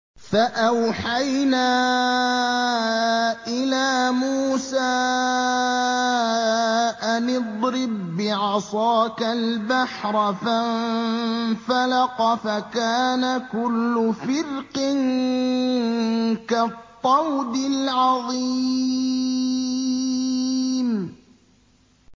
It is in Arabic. فَأَوْحَيْنَا إِلَىٰ مُوسَىٰ أَنِ اضْرِب بِّعَصَاكَ الْبَحْرَ ۖ فَانفَلَقَ فَكَانَ كُلُّ فِرْقٍ كَالطَّوْدِ الْعَظِيمِ